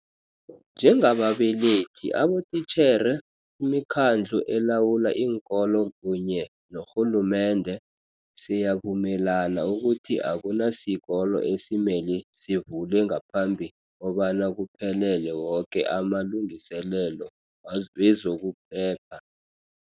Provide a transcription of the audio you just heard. Njengababelethi, abotitjhere, imikhandlu elawula iinkolo kunye norhulumende, siyavumelana ukuthi akunasikolo esimele sivule ngaphambi kobana kuphelele woke amalungiselelo wezokuphepha.